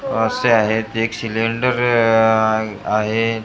असे आहेत एक सिलेंडर आह आहे तेला--